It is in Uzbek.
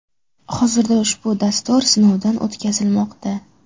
Hozirda ushbu dastur sinovdan o‘tkazilmoqda.